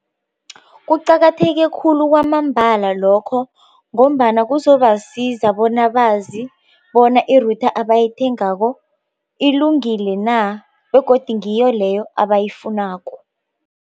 Kuqakatheke khulu kwamambala lokho ngombana kuzobasiza bona bazi bona i-router abayithengako ilungile na begodu ngiyo leyo abayifunako.